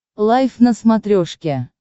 лайф на смотрешке